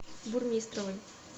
бурмистровой